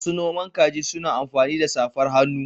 Masu noman kaji suna amfani da safar hannu.